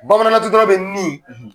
Bamanankantutara bɛ nin